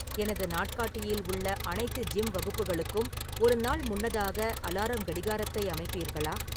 எனது நாட்காட்டியில் உள்ள அனைத்து ஜிம் வகுப்புகளுக்கும் ஒரு நாள் முன்னதாக அலாரம் கடிகாரத்தை அமைப்பீர்களா